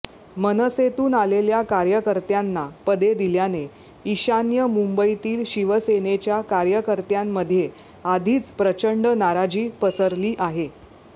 मनसेतून आलेल्या कार्यकर्त्यांना पदे दिल्याने ईशान्य मुंबईतील शिवसेनेच्या कार्यकर्त्यांमध्ये आधीच प्रचंड नाराजी पसरली आहे